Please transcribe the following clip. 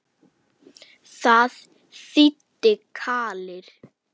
Það þýddi kvalir.